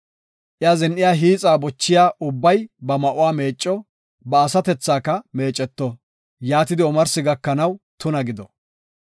Iya zin7iya hiixa bochiya ubbay ba ma7uwa meecco; ba asatethaka meeceto; yaatidi omarsi gakanaw tuna gido.